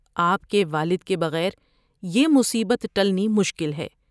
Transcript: آپ کے والد کے بغیر یہ مصیبت ٹلنی مشکل ہے ۔